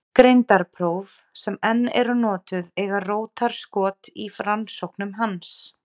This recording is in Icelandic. Greindarpróf sem enn eru notuð eiga rótarskot í rannsóknum hans.